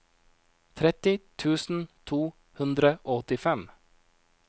tretti tusen to hundre og åttifem